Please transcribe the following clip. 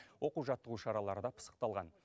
оқу жаттығу шаралары да пысықталған